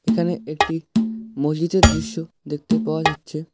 এখানে একটি মসজিদের দৃশ্য দেখতে পাওয়া যাচ্ছে।